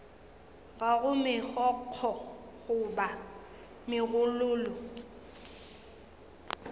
ga go megokgo goba megololo